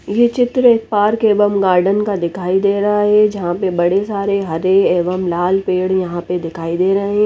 ये चित्र एक पार्क एवं गार्डन का दिखाई दे रहा है जहा पर बड़े सारे हरे एवं लाल पेड़ यहाँ पर दिखाई दे रहे है।